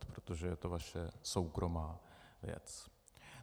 Protože je to vaše soukromá věc.